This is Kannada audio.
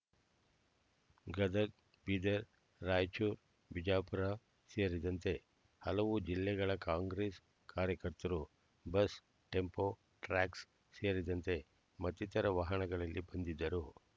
ಗದಗ ಬೀದರ್ರಾಯಚೂರು ಬಿಜಾಪುರ ಸೇರಿದಂತೆ ಹಲವು ಜಿಲ್ಲೆಗಳ ಕಾಂಗ್ರೆಸ್ ಕಾರ್ಯಕರ್ತರು ಬಸ್ ಟೆಂಪೋ ಟ್ರ್ಯಾಕ್ಸ್ ಸೇರಿದಂತೆ ಮತ್ತಿತರ ವಾಹನಗಳಲ್ಲಿ ಬಂದಿದ್ದರು